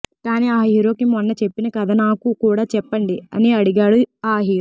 కాని ఆ హీరోకి మొన్న చెప్పిన కథ నాకు కుడా చెప్పండి అని అడిగాడు ఆ హీరో